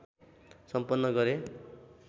सम्पन्न गरे।